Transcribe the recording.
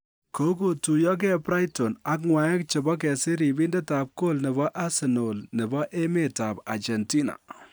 Kogotuiyogee Brighton ak ng'waek chebo kesir ribindet ab gool nebo Arsenal nebo emetab Argentina